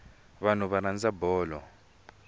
vanhu va rhandza bolo